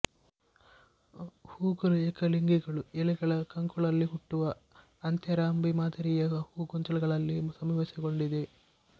ಹೂಗಳು ಏಕಲಿಂಗಿಗಳು ಎಲೆಗಳ ಕಂಕುಳಲ್ಲಿ ಹುಟ್ಟುವ ಅಂತ್ಯಾರಂಭಿ ಮಾದರಿಯ ಹೂಗೊಂಚಲುಗಳಲ್ಲಿ ಸಮಾವೇಶಗೊಂಡಿವೆ